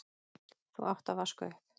þú átt að vaska upp.